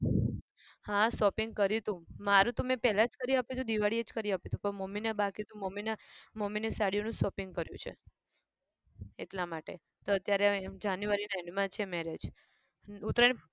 હા shopping કર્યું હતું મારું તો મેં પહેલા જ કરી આપી હતું દિવાળી એ જ કરી આપી હતું પણ મમ્મીને બાકી હતું મમ્મીને મમ્મીને સાડીનું જ shopping કર્યું છે. એટલા માટે તો અત્યારે january ના end માં છે marriage હમ ઉત્તરાયણ